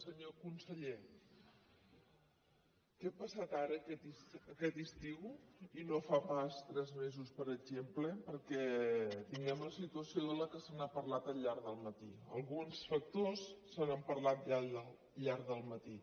senyor conseller què ha passat ara aquest estiu i no fa pas tres mesos per exemple perquè tinguem la situació de la qual s’ha parlat al llarg del matí d’alguns factors se n’ha parlat al llarg del matí